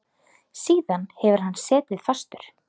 Síðan hefur hann setið fastur.